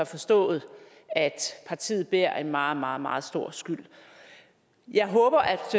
forstået at partiet bærer en meget meget meget stor skyld jeg håber